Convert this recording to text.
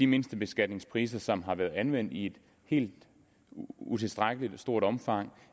mindstebeskatningspriserne som har været anvendt i et helt utilstedeligt stort omfang